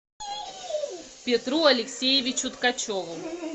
петру алексеевичу ткачеву